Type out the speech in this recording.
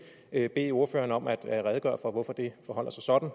ikke bede ordføreren om at redegøre for hvorfor forholder sig sådan